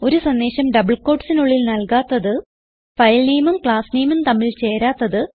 ഒരു സന്ദേശം ഡബിൾ quotesനുള്ളിൽ നൽകാത്തത് filenameഉം classnameഉം തമ്മിൽ ചേരാത്തത്